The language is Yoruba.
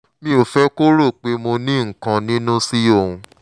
mi ò fẹ́ kó rò pé mo nínǹkan niínú sí òun